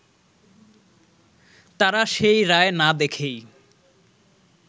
তারা সেই রায় না দেখেই